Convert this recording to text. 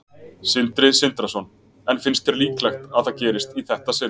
Sindri Sindrason: En finnst þér líklegt að það gerist í þetta sinn?